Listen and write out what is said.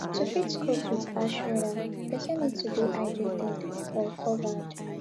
to fit cope with harsh weather person need to dey hydrated or covered